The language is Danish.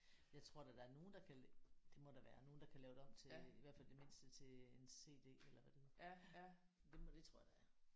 Jeg tror da der er nogen der kan det må da være nogen der kan lave det om til i hvert fald i det mindste en CD eller hvad det. Det må det tror jeg da